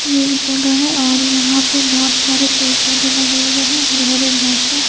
ये एक जगह है और यहा पे बहोत सारे पेड़-पोधे लगे हुए हैं हरे-हरे घास हैं।